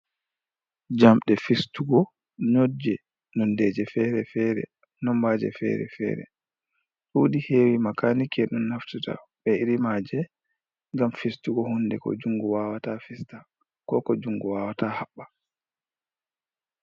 Jamɗe fistugo nodje nondeje fere-fere nombaje fere fere. Ɗudi hewi makanike don naftata be iri maje gam fistugo hunde ko jungo wawata fista, ko ko jungo wawata haɓba.